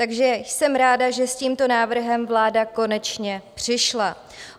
Takže jsem ráda, že s tímto návrhem vláda konečně přišla.